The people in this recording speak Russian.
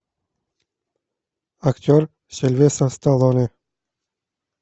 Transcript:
актер сильвестр сталлоне